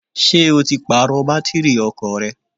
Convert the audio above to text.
Ṣé o ti Pààrọ̀ bátìrì ọkọ̀ rẹ?